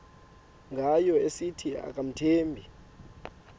ngayo esithi akamthembi